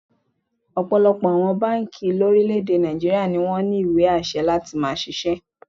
Ọ̀pọ̀lọpọ̀ àwọn báǹkì lórílẹ̀-èdè Nàìjííríà ni wọ́n ní ìwé àṣẹ láti máá ṣiṣẹ́